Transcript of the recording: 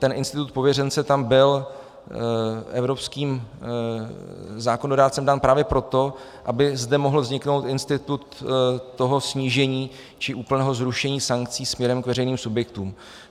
Ten institut pověřence tam byl evropským zákonodárcem dán právě proto, aby zde mohl vzniknout institut toho snížení či úplného zrušení sankcí směrem k veřejným subjektům.